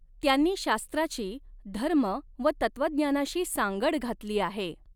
त्यांनी शास्त्राची धर्म व तत्वज्ञानाशी सांगड घातली आहे.